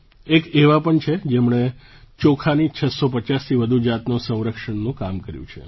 એક એવા પણ છે જેમણે ચોખાની 650થી વધુ જાતોના સંરક્ષણનું કામ કર્યું છે